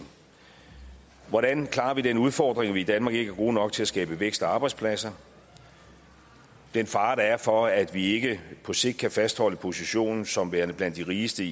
hvordan klarer vi den udfordring at vi i danmark ikke er gode nok til at skabe vækst og arbejdspladser og den fare der er for at vi ikke på sigt kan fastholde positionen som værende blandt de rigeste